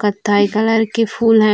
कत्थई कलर की फूल है।